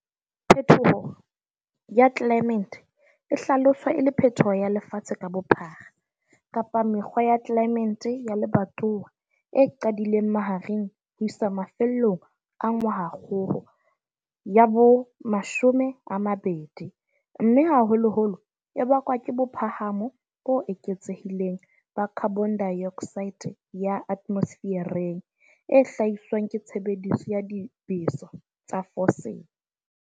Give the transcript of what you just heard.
Phetoho ya tlelaemete e hlaloswa e le phetoho ya lefatshe ka bophara kapa mekgwa ya tlelaemente ya lebatowa e qadileng mahareng ho isa mafellong a ngwahakgolo ya bo 20 mme haholoholo e bakwa ke bophahamo bo eketsehileng ba khabonedaeoksaete ya ate mosefereng e hlahiswang ke tshebediso ya dibeso tsa fosile.